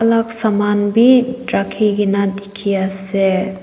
alag saman bi rakhi kena dikhi ase.